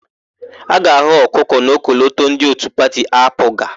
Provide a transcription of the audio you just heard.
A ga-ahụ ọkụkọ n'ọkọlọtọ ndị òtù pati AaPụga.